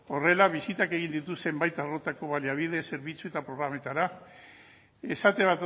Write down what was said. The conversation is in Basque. horrela bisitak egin dituzten baita baliabide zerbitzu eta programetara esate